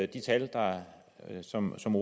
de tal som som